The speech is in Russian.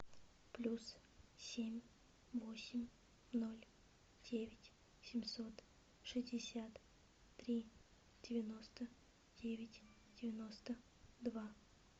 плюс семь восемь ноль девять семьсот шестьдесят три девяносто девять девяносто два